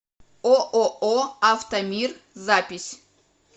ооо автомир запись